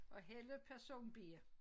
Og Helle person B